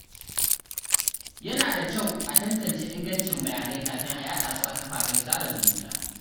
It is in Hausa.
Yana da kyau a tantance ingancin bayanai kafin a yaɗa su a kafafen sada zumunta.